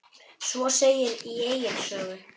Svo segir í Egils sögu